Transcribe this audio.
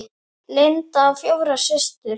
Linda á fjórar systur.